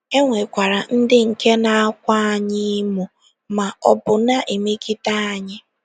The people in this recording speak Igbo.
E nwekwara ndị nke na - akwa anyị emo ma ọ bụ na - emegide anyị.